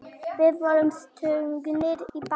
Við vorum stungnir í bakið.